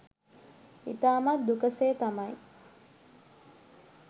ඉතාමත් දුක සේ තමයි